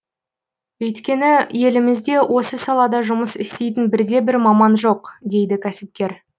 өйткені елімізде осы салада жұмыс істейтін бірде бір маман жоқ дейді кәсіпкер